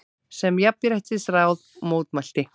sem Jafnréttisráð mótmælti.